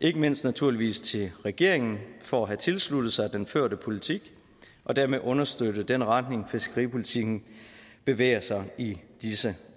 ikke mindst naturligvis til regeringen for at have tilsluttet sig den førte politik og dermed understøtte den retning fiskeripolitikken bevæger sig i i disse